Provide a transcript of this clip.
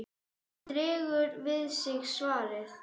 Hann dregur við sig svarið.